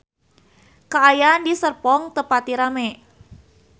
Kaayaan di Serpong teu pati rame